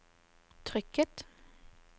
trykket